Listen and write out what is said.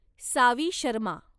Saavi Sharma